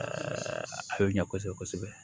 a bɛ ɲɛ kosɛbɛ kosɛbɛ